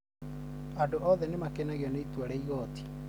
andũ othe nĩ makenagio nĩ itua rĩa igooti